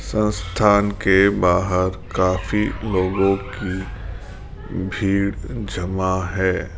संस्थान के बाहर काफी लोगों की भीड़ जमा है।